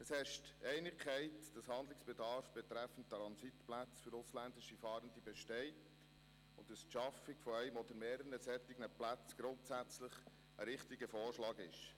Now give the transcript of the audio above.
Es herrschte Einigkeit darin, dass Handlungsbedarf betreffend Transitplätze für ausländische Fahrende besteht und dass die Schaffung eines oder mehrerer solcher Plätze grundsätzlich ein richtiger Vorschlag ist.